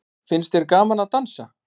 Finnst þér gaman að dansa?